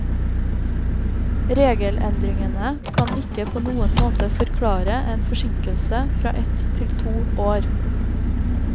Regelendringene kan ikke på noen måte forklare en forsinkelse fra ett til to år.